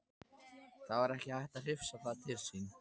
Það var ekki hægt að hrifsa það til sín.